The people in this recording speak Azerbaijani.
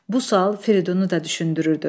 Bu sual Firidunu da düşündürürdü.